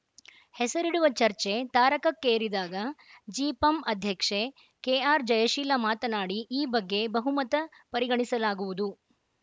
ಹೆಸರಿಡುವ ಚರ್ಚೆ ತಾರಕಕ್ಕೇರಿದಾಗ ಜಿಪಂ ಅಧ್ಯಕ್ಷೆ ಕೆಆರ್‌ಜಯಶೀಲ ಮಾತನಾಡಿ ಈ ಬಗ್ಗೆ ಬಹುಮತ ಪರಿಗಣಿಸಲಾಗುವುದು